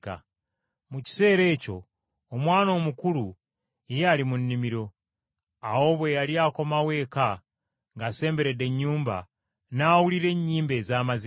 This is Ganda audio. “Mu kiseera ekyo omwana omukulu yali ali mu nnimiro. Awo bwe yali akomawo eka ng’asemberedde ennyumba, n’awulira ennyimba ez’amazina.